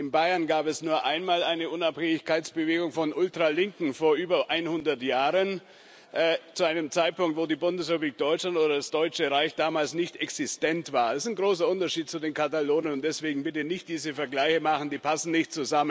In Bayern gab es nur einmal eine Unabhängigkeitsbewegung von Ultralinken vor über 100 Jahren, zu einem Zeitpunkt, wo die Bundesrepublik Deutschland oder das Deutsche Reich damals nicht existent war. Es besteht ein großer Unterschied zu den Katalonen und deswegen bitte nicht diese Vergleiche anstellen, die passen nicht.